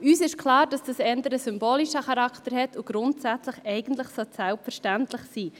Uns ist klar, dass dies eher einen symbolischen Charakter hat und grundsätzlich eigentlich selbstverständlich sein sollte.